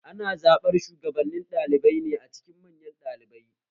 Ana zaɓar shugabannin ɗalibai a cikin manyan ɗalibai